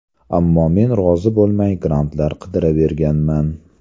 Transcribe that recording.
Ammo men rozi bo‘lmay, grantlar qidiraverganman.